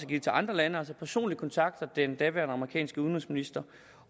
givet til andre lande personligt kontaktede den daværende amerikanske udenrigsminister